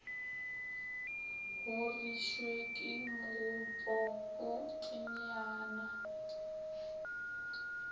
horišwe ke mogopo o teyana